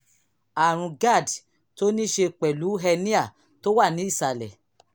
àrùn cs] gerd tó ní í ṣe pẹ̀lú hernia tó wà ní ìsàlẹ̀